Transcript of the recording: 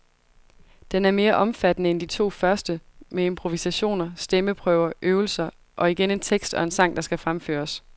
Den er mere omfattende end de to første, med improvisationer, stemmeprøver, øvelser og igen en tekst og en sang, der skal fremføres.